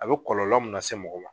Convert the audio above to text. A bɛ kɔlɔlɔ mun lase mɔgɔ ma